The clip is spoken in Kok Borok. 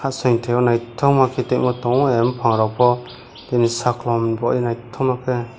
asoi teyo naitokma ke tango a bopang rok po tini sakolom bo naitomake.